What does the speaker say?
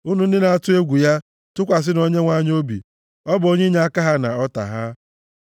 Unu ndị na-atụ egwu ya, tụkwasịnụ Onyenwe anyị obi ọ bụ onye inyeaka ha na ọta ha.